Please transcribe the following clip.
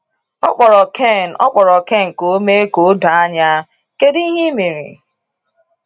Ọ kpọrọ Ken Ọ kpọrọ Ken ka o mee ka o doo anya: “Kedu ihe i mere?”